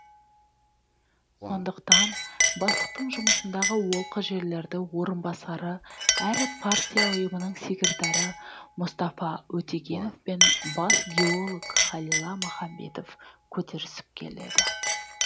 сондықтан бастықтың жұмысындағы олқы жерлерді орынбасары әрі партия ұйымының секретары мұстафа өтегенов пен бас геолог халила махамбетов көтерісіп келеді